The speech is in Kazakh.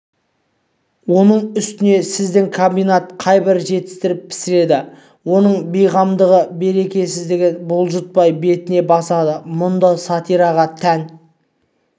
оның үстіне сіздің комбинат қайбір жетістіріп пісіреді оның бейғамдығын берекесіздігін бұлтартпай бетіне басады мұнда сатираға тән